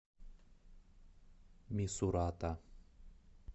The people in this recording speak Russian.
мисурата